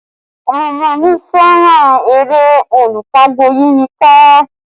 Omo mi fẹ́ràn eré Olú pagbo yí mi ká